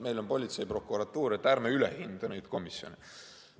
Meil on politsei ja prokuratuur, ärme üle hindame neid komisjone.